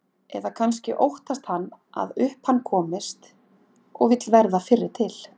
Eða kannski óttast hann að upp um hann komist og vill verða fyrri til.